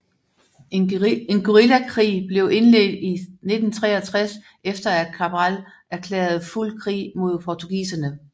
En guerillakrig blev indledt i 1963 efter at Cabral erklærede fuld krig mod portugiserne